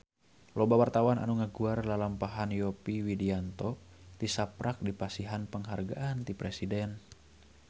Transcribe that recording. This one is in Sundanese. Loba wartawan anu ngaguar lalampahan Yovie Widianto tisaprak dipasihan panghargaan ti Presiden